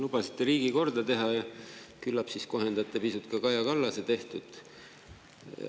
Lubasite riigi korda teha ja küllap siis kohendate pisut ka Kaja Kallase tehtut.